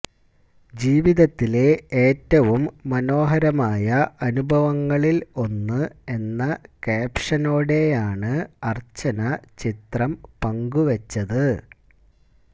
ജീവിതത്തിലെ ഏറ്റവും മനോഹരമായ അനുഭവങ്ങളിൽ ഒന്ന് എന്ന കാപ്ഷനോടെയാണ് അർച്ചന ചിത്രം പങ്കു വച്ചത്